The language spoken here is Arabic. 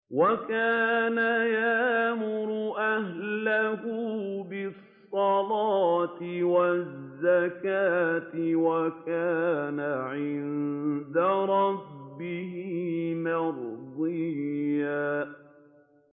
وَكَانَ يَأْمُرُ أَهْلَهُ بِالصَّلَاةِ وَالزَّكَاةِ وَكَانَ عِندَ رَبِّهِ مَرْضِيًّا